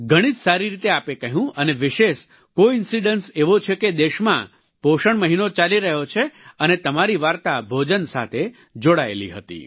ઘણી જ સારી રીતે આપે કહ્યું અને વિશેષ કોઇન્સિડન્સ એવો છે કે દેશમાં પોષણ મહિનો ચાલી રહ્યો છે અને તમારી વાર્તા ભોજન સાથે જોડાયેલી હતી